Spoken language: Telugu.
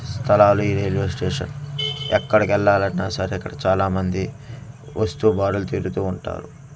స్థలాలీ రేడియో స్టేషన్ ఎక్కడికి ఏళ్లలి అన్న సరే ఇక్కడ చాలా మంది వస్తు తీరుతూ ఉంటారు.